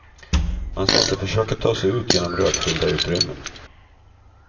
Man ska inte försöka ta sig ut genom rökfyllda utrymmen.